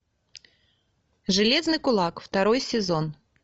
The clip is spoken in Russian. железный кулак второй сезон